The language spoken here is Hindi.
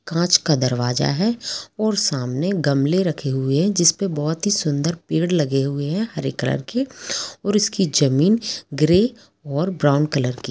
कांच का दरवाज़ा है और सामने गमले रखे हुए है जिसपे बहुत ही सुंदर पेड़ लगे हुए है हरे कलर के और उसकी ज़मीन ग्रे और ब्राउन कलर की--